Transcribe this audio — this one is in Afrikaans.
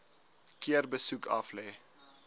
keer besoek aflê